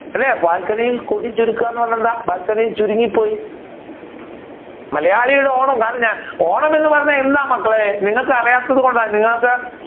അല്ലെ ബാൽക്കണിയിൽ കൊതി ചുരുക്കുക എന്ന് പറഞ്ഞാൽ എന്താ ബാൽക്കണിയിൽ ചുരുങ്ങി പോയി മലയാളിയുടെ ഓണം ഓണം എന്ന് പറഞ്ഞാൽ എന്താ മക്കളെ നിങ്ങൾക്ക് അറിയാത്തതു കൊണ്ട നിങ്ങൾക്ക്